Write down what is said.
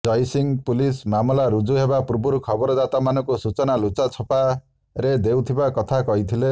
Jaisingh police ମାମଲା ରୁଜୁ ହେବା ପୂର୍ବରୁ ଖବରଦାତାମାନଙ୍କୁ ସୂଚନା ଲୁଚା ଛପାରେ ଦେଉଥିବା କଥା କହିଥିଲେ